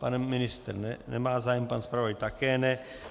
Pan ministr nemá zájem, pan zpravodaj také ne.